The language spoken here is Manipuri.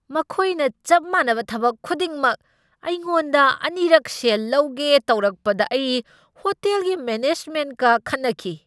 ꯃꯈꯣꯏꯅ ꯆꯞ ꯃꯥꯟꯅꯕ ꯊꯕꯛ ꯑꯗꯨꯒꯤꯗꯃꯛ ꯑꯩꯉꯣꯟꯗ ꯑꯅꯤꯔꯛ ꯁꯦꯜ ꯂꯧꯒꯦ ꯇꯧꯔꯛꯄꯗ ꯑꯩ ꯍꯣꯇꯦꯜꯒꯤ ꯃꯦꯅꯦꯖꯃꯦꯟꯠꯀ ꯈꯠꯅꯈꯤ꯫